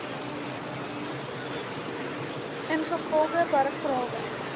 ingevolge paragrawe